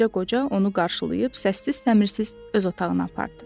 Balaca qoca onu qarşılayıb səssiz-təmirsiz öz otağına apardı.